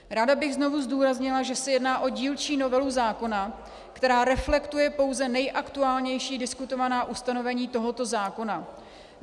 Ráda bych znovu zdůraznila, že se jedná o dílčí novelu zákona, která reflektuje pouze nejaktuálnější diskutovaná ustanovení tohoto zákona.